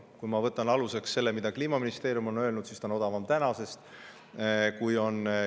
Kui ma võtan aluseks selle, mida Kliimaministeerium on öelnud, siis see on tänasest odavam.